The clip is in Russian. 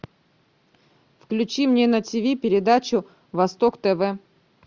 включи мне на тиви передачу восток тв